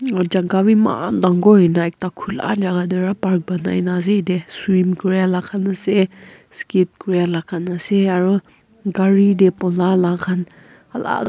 aro jaga be emmaann tangore hoina ekta kholaa enaka hoikina aro ekta park ponai kina ase yati swim kuria laga kan ase skate kuria laga kan ase aro kari teh koma laga kan alal.